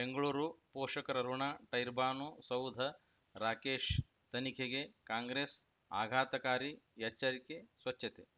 ಬೆಂಗಳೂರು ಪೋಷಕರಋಣ ಟರ್ಬೈನು ಸೌಧ ರಾಕೇಶ್ ತನಿಖೆಗೆ ಕಾಂಗ್ರೆಸ್ ಆಘಾತಕಾರಿ ಎಚ್ಚರಿಕೆ ಸ್ವಚ್ಛತೆ